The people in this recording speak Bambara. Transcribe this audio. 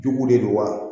Duguw de don wa